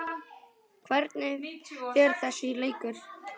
Hvernig fer þessi leikur?